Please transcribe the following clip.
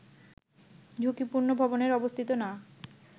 ঝুঁকিপূর্ণ ভবনে অবস্থিত না